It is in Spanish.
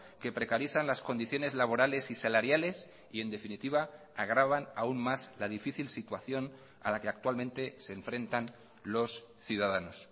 que precarizan las condiciones laborales y salariales y en definitiva agravan aún más la difícil situación a la que actualmente se enfrentan los ciudadanos